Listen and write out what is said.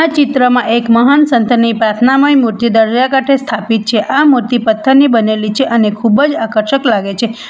ચિત્રમાં એક મહાન સંતની પ્રાર્થનામય મૂર્તિ દરિયાકાંઠે સ્થાપિત છે આ મૂર્તિ પથ્થરની બનેલી છે અને ખૂબ જ આકર્ષક લાગે છે.